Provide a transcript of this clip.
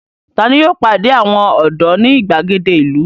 Ta ni yóò pàdé àwọn ọ̀dọ́ ní ìgbàgede ìlú?